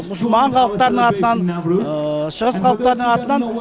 мұсылман халықтарының атынан шығыс халықтарының атынан